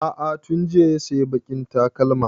A'a tun jiya ya sayi baƙin takalmin